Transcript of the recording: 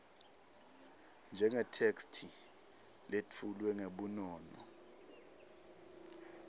njengetheksthi letfulwe ngebunono